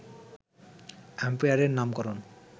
অ্যাম্পিয়ারের নামকরণ